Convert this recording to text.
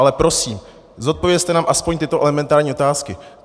Ale prosím, zodpovězte nám alespoň tyto elementární otázky.